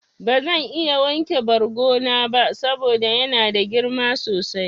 Bazan iya wanke bargo na ba saboda yana da girma sosai.